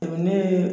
Ne ye